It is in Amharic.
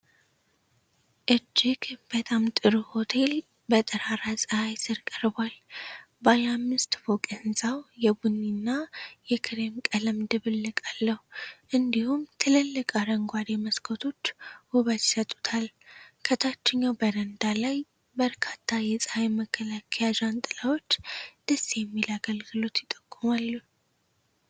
እጅግ በጣም ጥሩ ሆቴል በጠራራ ፀሐይ ስር ቀርቧል። ባለ አምስት ፎቅ ሕንፃው የቡኒ እና የክሬም ቀለም ድብልቅ አለው፣ እንዲሁም ትልልቅ አረንጓዴ መስኮቶች ውበት ይሰጡታል። ከታችኛው በረንዳ ላይ በርካታ የፀሐይ መከላከያ ጃንጥላዎች ደስ የሚል አገልግሎት ይጠቁማሉ።